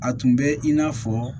A tun bɛ in n'a fɔ